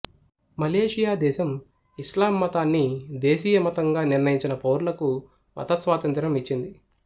Malaysia దేశం ఇస్లాం మతాన్ని దేశీయమతంగా నిర్ణయిచినా పౌరులకు మతస్వాతంత్ర్యం ఇచ్చింది